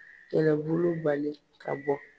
Kɛlɛbolobali ka bɔ